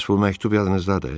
Bəs bu məktub yadınızdadır?